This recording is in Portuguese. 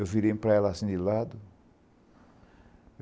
Eu virei para ela assim de lado.